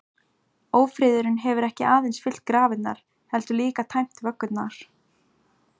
Ófriðurinn hefur ekki aðeins fyllt grafirnar, heldur líka tæmt vöggurnar.